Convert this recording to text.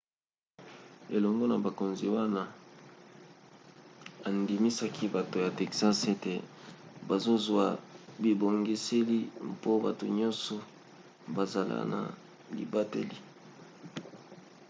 elongo na bakonzi wana andimisaki bato ya texas ete bazozwa bibongiseli mpo bato nyonso bazala na libateli